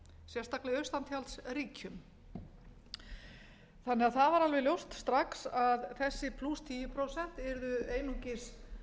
sérstaklega í austantjaldsríkjum það var því alveg ljóst strax að þessi plús tíu prósent yrðu einungis